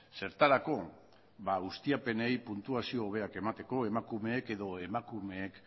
zertarako ustiapenei puntuazio hobeak emateko emakumeek edo emakumeek